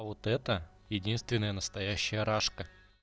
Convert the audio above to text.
вот это единственная настоящая рашка